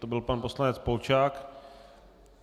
To byl pan poslanec Polčák.